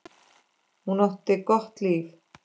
Hún átti gott líf.